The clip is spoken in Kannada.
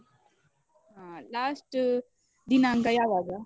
ಆ last ದಿನಾಂಕ ಯಾವಾಗ?